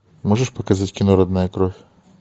можешь показать кино родная кровь